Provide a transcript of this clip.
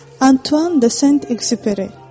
Antuan de Sent Exupery.